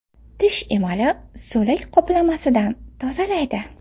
Tish emalini so‘lak qoplamasidan tozalaydi.